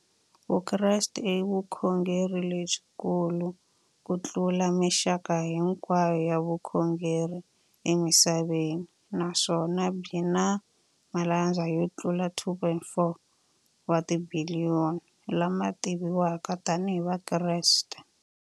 Vukreste i vukhongeri lebyi kulu kutlula mixaka hinkwayo ya vukhongeri emisaveni, naswona byi na malandza yo tlula 2.4 wa tibiliyoni, la ma tiviwaka tani hi Vakreste.